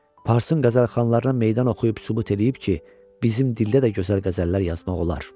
Parsın qəzəlxanlarına meydan oxuyub sübut eləyib ki, bizim dildə də gözəl qəzəllər yazmaq olar.